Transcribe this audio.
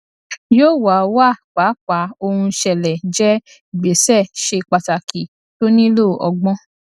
yóò wà wà pàápàá ohun ṣẹlẹ jẹ ìgbésẹ ṣe pàtàkì tó nílò ọgbọn